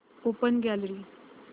open gallery